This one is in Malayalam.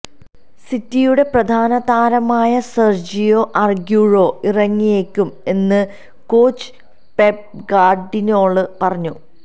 സിറ്റിയുടെ പ്രധാന താരമായ സെര്ജിയോ അഗ്യൂറോ ഇറങ്ങിയേക്കും എന്ന് കോച്ച് പെപ് ഗാര്ഡിയോള പറഞ്ഞു